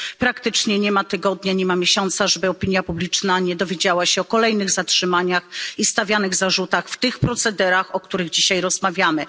Praktycznie nie ma tygodnia, nie ma miesiąca, żeby opinia publiczna nie dowiadywała się o kolejnych zatrzymaniach i stawianych zarzutach w tych procederach, o których dzisiaj rozmawiamy.